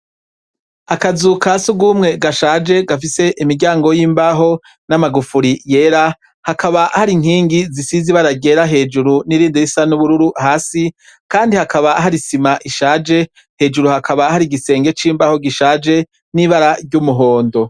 Akazu ka sugumwe gashaje, gafise imiryango y'imbaho n'amagufuri yera, hakaba har'inkingi zisize ibara ryera hejuru n'irindi risa n'ubururu hasi Kandi hakaba har'isima ishaje, hejuru hakaba har'igisenge c'imbaho gishaje n'ibara ry'umuhondo.